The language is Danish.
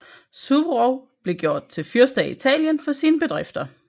Suvorov blev gjort til fyrste af Italien for sine bedrifter